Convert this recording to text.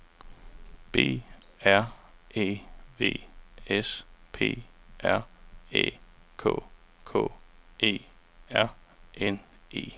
B R E V S P R Æ K K E R N E